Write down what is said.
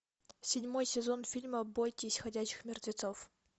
седьмой сезон фильма бойтесь ходячих мертвецов